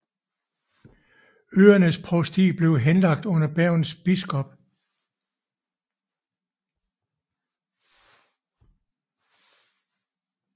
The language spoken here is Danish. Øernes provsti blev henlagt under Bergens biskop